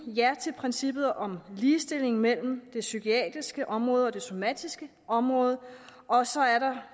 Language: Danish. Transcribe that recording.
ja til princippet om ligestilling mellem det psykiatriske område og det somatiske område og så er der